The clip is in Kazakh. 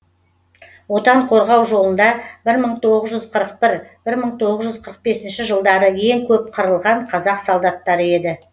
отан қорғау жолында бір мың тоғыз жүз қырық бір бір мың тоғыз жүз қырық бесінші жылдары ең көп қырылған қазақ солдаттары еді